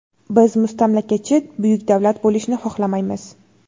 Biz mustamlakachi buyuk davlat bo‘lishni xohlamaymiz.